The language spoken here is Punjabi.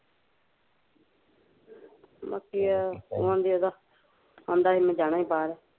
ਬਾਕੀ ਆਹ ਹੁਣ ਜਿਹਦਾ ਕਹਿੰਦਾ ਸੀ ਮੈਂ ਜਾਣਾ ਈ ਬਾਹਰ ਆ